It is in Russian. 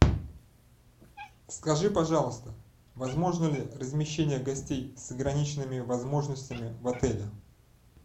скажи пожалуйста возможно ли размещение гостей с ограниченными возможностями в отеле